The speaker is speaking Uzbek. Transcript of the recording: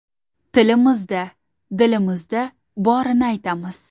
Tilimizda, dilimizda borini aytamiz.